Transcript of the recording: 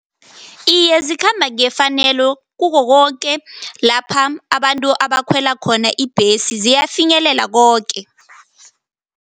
Iye, zikhamba ngefanelo kukho koke lapha abantu abakhwela khona ibhesi, ziyafinyelele koke.